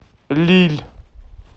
лилль